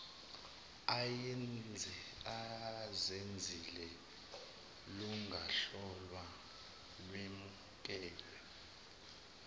azenzile lungahlolwa lwemukelwe